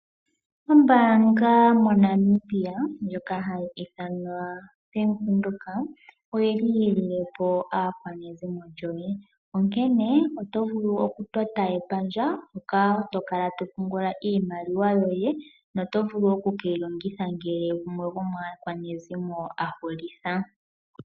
Ombaanga moNamibia ndjoka hayi ithanwa Bank Windhoek oyili yililepo aakwanezimo lyoye onkene otovulu okutota epandja hoka tokala topungula iimaliwa yoye noto vulu okukeyi longitha ngele gumwe gomaakwanezimo ahulitha.